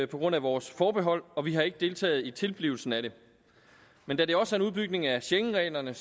på grund af vores forbehold og vi har ikke deltaget i tilblivelsen af det men da det også er en udbygning af schengenreglerne